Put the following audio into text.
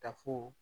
Tafo